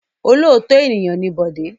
Olóòótọ́ ènìyàn ni Bọ̀dé.